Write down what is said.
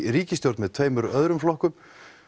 ríkisstjórn með tveimur öðrum flokkum